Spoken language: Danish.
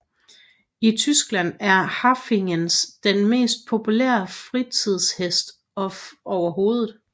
I Tyskland er Haflingeren den mest populære fritidshest overhovedet